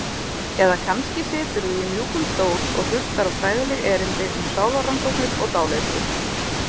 Eða kannski siturðu í mjúkum stól og hlustar á fræðileg erindi um sálarrannsóknir og dáleiðslu.